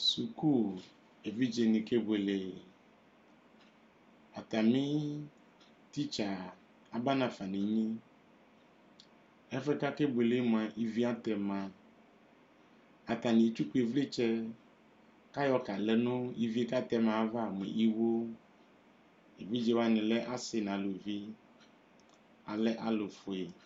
Evidzedini kebuele atami tsitsi aba nafa nu ɛmɛ ɛfɛ akebuele mua ivi atɛma atani etsuku ivlitsɛ ku ayɔ kadu nu ɛfuɛ ivie katɛma ava evidzewani lɛ asi nu aluvi alɛ alufue